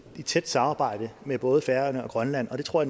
i tæt samarbejde med både færøerne og grønland og det tror